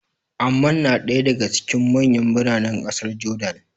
Amman na ɗaya daga cikin manyan biranen ƙasar Jordan.